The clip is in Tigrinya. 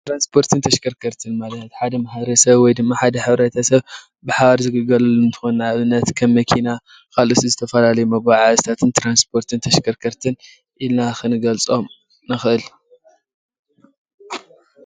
ትራንስፖርት ተሽከርከርት ማለት ሓደ ማሕበረሰብ ወይ ድማ ሓደ ሕብረተሰብን ብሓባር ዝግልገለሉ እንትኮን ንኣብነት ከም መኪና ካልኦት ዝተፈላለዩ ናይ መጓዓዓዝታትን ትራንስፖርት ተሽከርከርትን ኢልና ክንገልፆም ንክእል፡፡